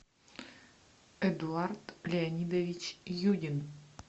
эдуард леонидович юдин